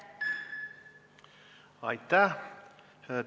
Aitäh!